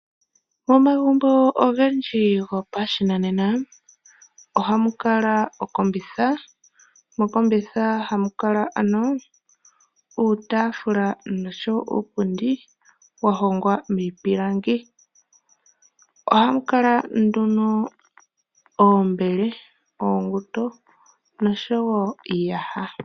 Omagumbo ogendji gopashinanena ohamu kala okombitha. Mokombitha ohamu kala uutaafula noshowo uupundi wa hongwa miipilangi. Ohamu kala nduno iimbele, uusindo noshowo iiyaha.